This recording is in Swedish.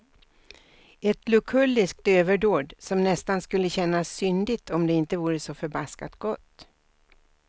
Ett lukulliskt överdåd som nästan skulle kännas syndigt om det inte vore så förbaskat gott.